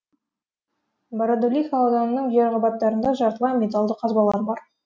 бородулиха ауданының жер қабаттарында жартылай металлды қазбалар бар